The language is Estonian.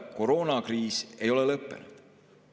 Koroonakriis ei ole lõppenud.